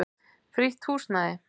Frítt húsnæði.